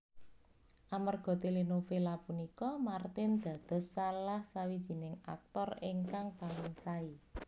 Amerga telenovela punika Martin dados salahsawijining aktor ingkang paling sae